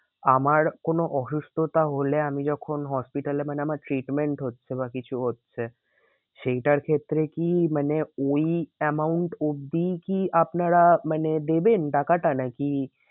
আমার কোনো অসুস্থতা হলে আমি যখন hospital এ মানে আমার treatment হচ্ছে বা কিছু হচ্ছে। সেইটার ক্ষেত্রে কি মানে ওই amount অবধি কি আপনারা মানে দেবেন টাকাটা নাকি